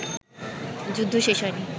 যুদ্ধ শেষ হয়নি